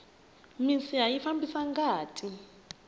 minsiha yi fambisa ngati